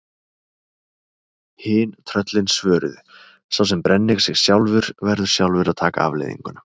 Hin tröllin svöruðu: Sá sem brennir sig sjálfur, verður sjálfur að taka afleiðingunum